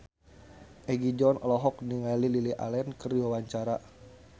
Egi John olohok ningali Lily Allen keur diwawancara